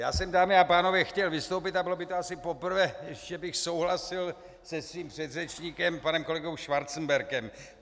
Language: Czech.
Já jsem, dámy a pánové, chtěl vystoupit, a bylo by to asi poprvé, že bych souhlasil se svým předřečníkem panem kolegou Schwarzenbergem.